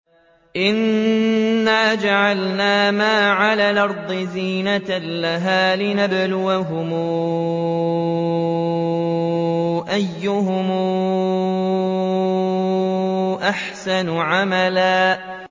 إِنَّا جَعَلْنَا مَا عَلَى الْأَرْضِ زِينَةً لَّهَا لِنَبْلُوَهُمْ أَيُّهُمْ أَحْسَنُ عَمَلًا